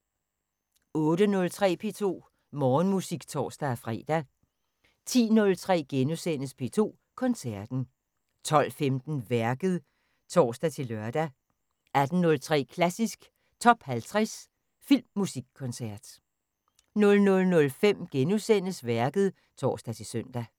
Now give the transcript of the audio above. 08:03: P2 Morgenmusik (tor-fre) 10:03: P2 Koncerten * 12:15: Værket (tor-lør) 18:03: Klassisk Top 50 Filmmusikkoncert 00:05: Værket *(tor-søn)